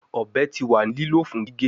Ọbẹ ti wa ni lilo fun gige